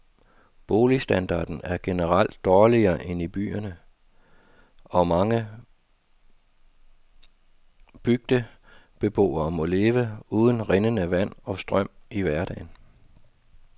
Boligstandarden er generelt dårligere end i byerne, og mange bygdebeboere må leve uden rindende vand og strøm i hverdagen.